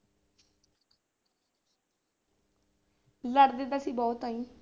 ਲੜਦੇ ਤਾਂ ਅਸੀਂ ਬਹੁਤ ਹਾਂ ਜੀ।